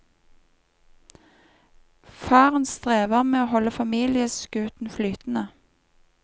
Faren strever med å holde familieskuten flytende.